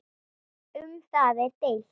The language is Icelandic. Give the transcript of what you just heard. Um það er deilt.